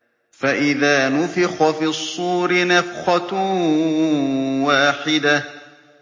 فَإِذَا نُفِخَ فِي الصُّورِ نَفْخَةٌ وَاحِدَةٌ